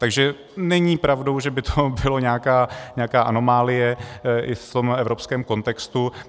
Takže není pravdou, že by to byla nějaká anomálie i v tom evropském kontextu.